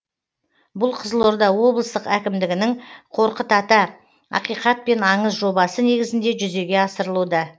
бұл қызылорда облыстық әкімдігінің қорқыт ата ақиқат пен аңыз жобасы негізінде жүзеге асырылуда